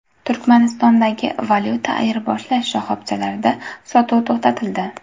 Turkmanistondagi valyuta ayirboshlash shoxobchalarida sotuv to‘xtatildi.